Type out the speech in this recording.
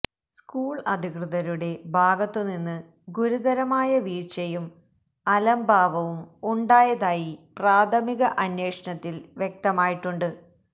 school അധികൃതരുടെ ഭാഗത്തുനിന്ന് ഗുരുതരമായ വീഴ്ചയും അലംഭാവവും ഉണ്ടായതായി പ്രാഥമിക അന്വേഷണത്തില് വ്യക്തമായിട്ടുണ്ട്